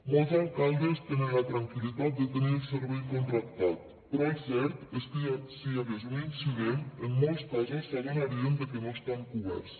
molts alcaldes tenen la tranquil·litat de tenir el servei contractat però el cert és que si hi hagués un incident en molts casos s’adonarien de que no estan coberts